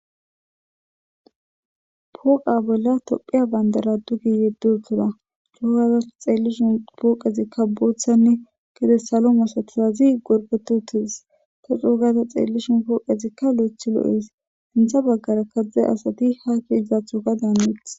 Pooqa bolla tophiya bandara duge yeddiuttida. Coo gaada ta xeellishin pooqezikka boothanne gede salo masatizazi gorpetidi uttides. Coo gaada xeellishin pooqezikka lo'ethi lo'ees. Senththa baggara diza asati ha xeellizaththokka daani hanetes.